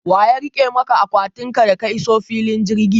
Waya rike maka akwatin ka da ka iso filin jirgi?